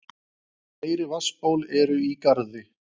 Fleiri vatnsból eru í Garði.